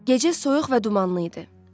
Gecə soyuq və dumanlı idi.